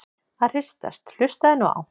að hristast- hlustaðu nú á!